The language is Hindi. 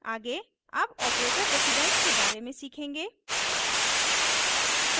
आगे अब ऑपरेटर प्रेसिडेन्स के बारे में सीखेंगे